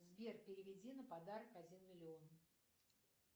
сбер переведи на подарок один миллион